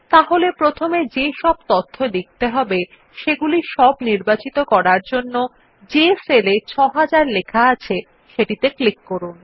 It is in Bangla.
তাহলে প্রথমে যে সব তথ্য লিখতে হবে সেগুলি সব নির্বাচিত করার জন্য যে সেল এ ৬০০০ লেখা আছে সেটিতে ক্লিক করুন